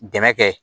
Dɛmɛ kɛ